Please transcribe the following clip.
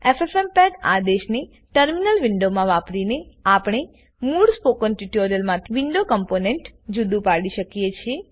ffmpegઆદેશને terminal window માં વાપરીનેઆપણે મૂળ સ્પોકન ટ્યુટોરીયલમાંથી વિડીઓ કોમ્પોનેન્ટને જુદું પાડી શકીએ છે